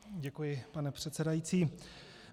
Děkuji, pane předsedající.